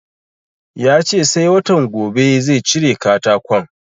Ya ce sai watan gobe zai cire katakon